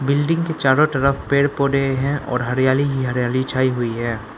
Building के चारों तरफ पेड़ पौधे हैं और हरियाली ही हरियाली छाई हुई है।